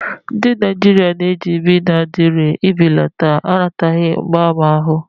Ndị Naijiria na-eji Benadilu ibelata anataghi mgbaàmà ahụ.